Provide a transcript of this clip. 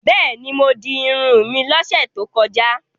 Bẹ́ẹ̀ni, mo di irun mi lọ́sẹ̀ tó kọjá.